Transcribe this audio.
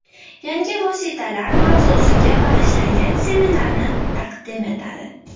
Yangi vositalar” mavzusiga bag‘ishlangan seminarlarni taqdim etadi.